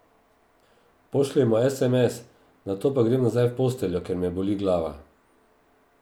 Pošljem mu esemes, nato pa grem nazaj v posteljo, ker me boli glava.